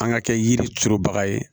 An ka kɛ yiri turu baga ye